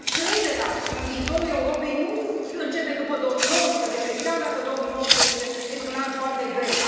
Cred că încrederea în viitorul Europei nu începe după 2019, chiar dacă 2019 este un an foarte greu.